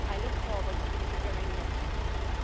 I look forward to hearing your proposals.